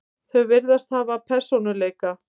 Þau virðast hafa persónuleika.